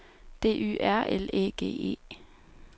D Y R L Æ G E